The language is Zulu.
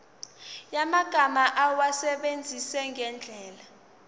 yamagama awasebenzise ngendlela